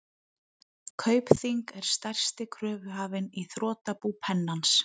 Kaupþing er stærsti kröfuhafinn í þrotabú Pennans.